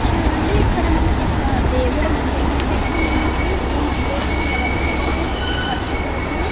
చూడండి ఇక్కడ మనకు ఒక దేవుని మందిరం అయితే కనిపిస్తుంది. ఈ మందిరమై ఎవరిదంటే శ్రీ పద్మ ప్రభువు రోజు యొక్క మందిరమన్నమాట.